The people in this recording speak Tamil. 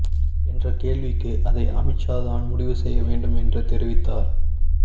என்ற கேள்விக்கு அதை அமித்ஷா தான் முடிவு செய்ய வேண்டும் என்று தெரிவித்தார்